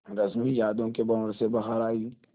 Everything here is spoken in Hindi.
रश्मि यादों के भंवर से बाहर आई